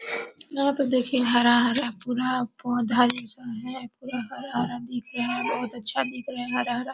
यहां पर देखिए हरा-हरा पूरा पौधा जैसा है पूरा हरा-हरा दिख रहा है बहुत अच्छा दिख रहा है हरा-हरा।